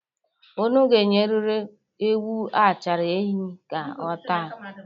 Unu ga-enyeriri ewu achara enyi ka ọ taa.